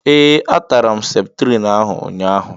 Ee, a tara m septrin ahụ ụnyaahụ.